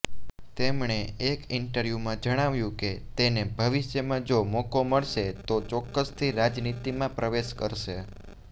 તેમણે એક ઇન્ટરવ્યુંમા જણાવ્યું કે તેને ભવિષ્યમાં જો મોકો મળશે તો ચોક્કસથી રાજનિતીમાં પ્રવેશ કરશે